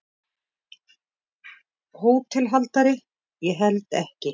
HÓTELHALDARI: Ég held ekki.